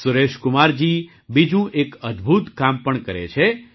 સુરેશકુમારજી બીજું એક અદ્બુત કામ પણ કરે છે